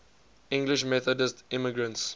english methodist immigrants